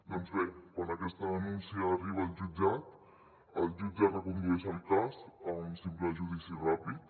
doncs bé quan aquesta denúncia arriba al jutjat el jutge recondueix el cas a un simple judici ràpid